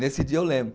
Nesse dia eu lembro.